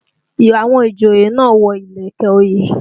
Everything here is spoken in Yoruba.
Àwọn ìjòyè náà wọ ìlẹ̀kẹ̀ òye